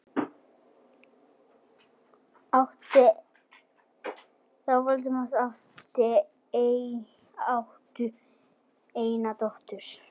Þau Vilhelm áttu eina dóttur.